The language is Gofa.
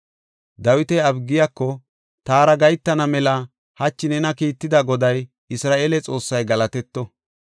Dawiti Abigiyako, “Taara gahetana mela hachi nena kiitida Goday, Isra7eele Xoossay galatetto.